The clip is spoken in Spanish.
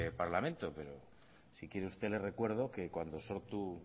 parlamento pero si quiere usted le recuerdo que cuando sortu